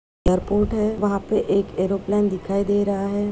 Airport है वहाँ पे एक एरोप्लेन दिखाई दे रहा है।